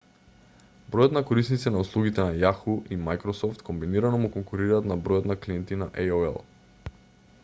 бројот на корисници на услугите на yahoo и microsoft комбинирано му конкурираат на бројот на клиенти на aol